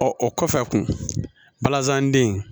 Ɔ o kɔfɛ kun balazan den